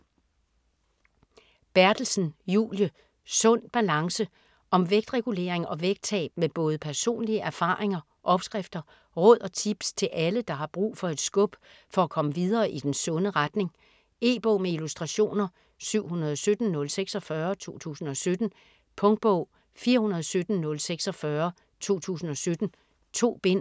Berthelsen, Julie: Sund balance Om vægtregulering og vægttab med både personlige erfaringer, opskrifter, råd og tips til alle, der har brug for et skub for at komme videre i den sunde retning. E-bog med illustrationer 717046 2017. Punktbog 417046 2017. 2 bind.